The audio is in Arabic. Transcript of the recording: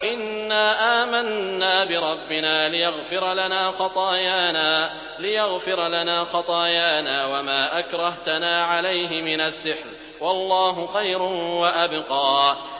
إِنَّا آمَنَّا بِرَبِّنَا لِيَغْفِرَ لَنَا خَطَايَانَا وَمَا أَكْرَهْتَنَا عَلَيْهِ مِنَ السِّحْرِ ۗ وَاللَّهُ خَيْرٌ وَأَبْقَىٰ